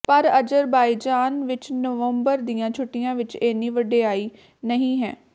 ਪਰ ਅਜ਼ਰਬਾਈਜ਼ਾਨ ਵਿਚ ਨਵੰਬਰ ਦੀਆਂ ਛੁੱਟੀਆਂ ਵਿਚ ਇੰਨੀ ਵਡਿਆਈ ਨਹੀਂ ਹੈ